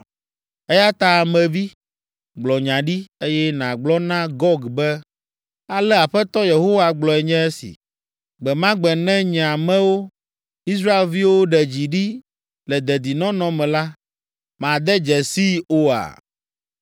Eya ta Ame vi, gblɔ nya ɖi, eye nàgblɔ na Gog be, ale Aƒetɔ Yehowa gblɔe nye esi: Gbe ma gbe ne nye amewo, Israelviwo ɖe dzi ɖi le dedinɔnɔ me la, màde dzesii oa?